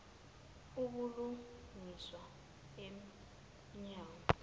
ubulungiswa em nyango